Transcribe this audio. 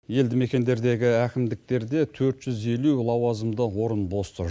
елді мекендердегі әкімдіктерде төрт жүз елу лауазымды орын бос тұр